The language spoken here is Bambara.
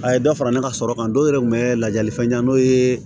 A ye dɔ fara ne ka sɔrɔ kan dɔw yɛrɛ kun bɛ lajali fɛn di n'o ye